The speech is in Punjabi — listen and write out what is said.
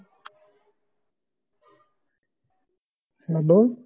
ਹੱਲੋ